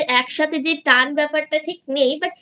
বা একসাথে যে টান ব্যাপারটা ঠিক নেই